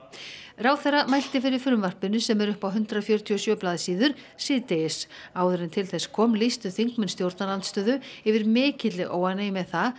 ráðherra mælti fyrir frumvarpinu sem er upp á hundrað fjörutíu og sjö blaðsíður síðdegis áður en til þess kom lýstu þingmenn stjórnarandstöðu yfir mikilli óánægju með það